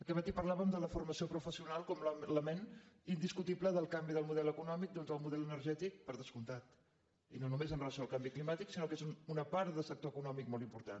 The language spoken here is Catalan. aquest matí parlàvem de la formació professional com a element indiscutible del canvi del model econòmic doncs del model energètic per descomptat i no només amb relació al canvi climàtic sinó que és una part de sector econòmic molt important